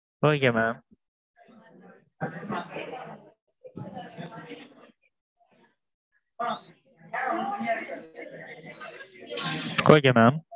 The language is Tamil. okay mam okay mam.